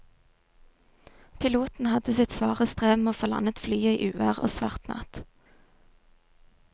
Piloten hadde sitt svare strev med å få landet flyet i uvær og svart natt.